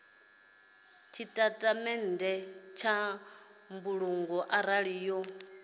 tshitatamennde tsha mbulungo arali yo